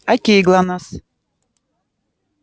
к кому пришла красавица